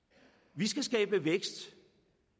vi skal skabe vækst